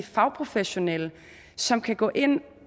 fagprofessionelle som kan gå ind